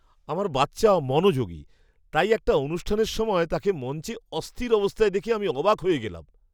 আমার বাচ্চা মনোযোগী, তাই একটা অনুষ্ঠানের সময়ে তাকে মঞ্চে অস্থির অবস্থায় দেখে আমি অবাক হয়ে গেলাম।